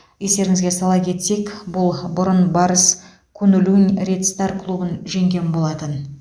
естеріңізге сала кетсек бұл бұрын барыс куньлунь ред стар клубын жеңген болатын